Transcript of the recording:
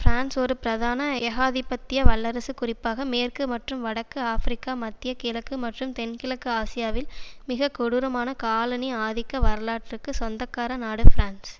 France ஒரு பிரதான ஏகாதிபத்திய வல்லரசு குறிப்பாக மேற்கு மற்றும் வடக்கு ஆப்பிரிக்கா மத்திய கிழக்கு மற்றும் தென்கிழக்கு ஆசியாவில் மிக கொடூரமான காலனி ஆதிக்க வரலாற்றுக்கு சொந்தக்கார நாடு பிரான்ஸ்